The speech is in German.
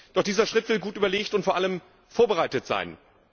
Doch dieser Schritt will gut überlegt und vor allem vorbereitet sein.